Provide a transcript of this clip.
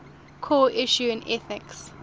core issues in ethics